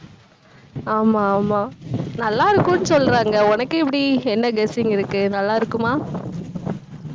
ஆமா, ஆமா. நல்லா இருக்கும்னு சொல்றாங்க. உனக்கு எப்படி, என்ன guessing இருக்கு நல்லா இருக்குமா